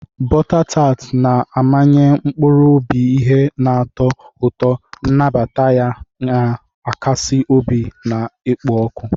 Bota tar na-amanye mkpụrụ obi ihe na-atọ ụtọ, nnabata ya na-akasi obi na-ekpo ọkụ.